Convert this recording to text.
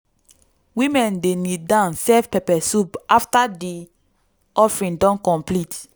woman dey kneel down serve pepper soup after di offering don complete.